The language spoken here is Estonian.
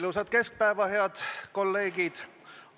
Ilusat keskpäeva, head kolleegid!